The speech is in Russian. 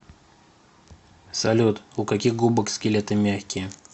салют у каких губок скелеты мягкие